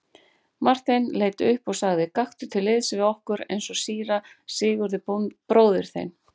Marteinn leit upp og sagði:-Gakktu til liðs við okkur eins og síra Sigurður bróðir þinn.